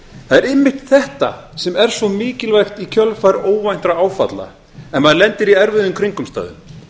einmitt þetta sem er svo mikilvægt í kjölfar óvæntra áfalla ef maður lendir í erfiðum kringumstæðum